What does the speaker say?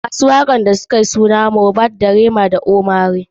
Mawaƙan da sukayi suna a waka suna su, Mohbad, Rema dasu ohmay lay.